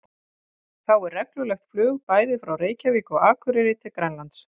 Þá er reglulegt flug bæði frá Reykjavík og Akureyri til Grænlands.